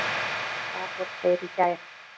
Þar voru þeir í gær.